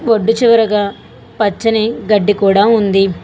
ఒడ్డు చివరగా పచ్చని గడ్డి కూడా ఉంది.